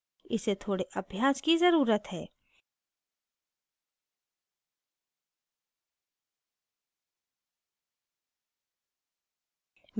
इसे थोड़े अभ्यास की जरूरत है